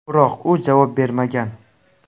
Biroq u javob bermagan.